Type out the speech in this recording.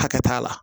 Hakɛ t'a la